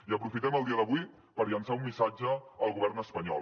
i aprofitem el dia d’avui per llançar un missatge al govern espanyol